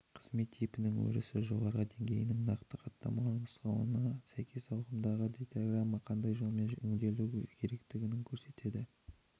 қызмет типінің өрісі жоғарғы деңгейінің нақты хаттамалық нұсқауына сәйкес ағымдағы дейтаграмма қандай жолмен өңделуі керектігін көрсетеді